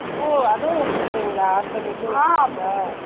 ஓ அதும் வேசுருக்கிங்க்லா ஆட்டுற mill உம் வேச்சிருக்கிங்க்லா ?